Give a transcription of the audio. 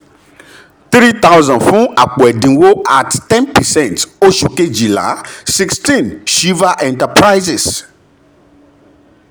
s] three thousand fún àpò ẹ̀dínwó @ ten percent oṣù kejìlá sixteen s hiva enterprises